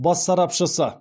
бас сарапшысы